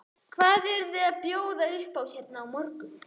Hvað eruð þið að bjóða upp á hérna á morgun?